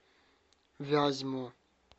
вязьму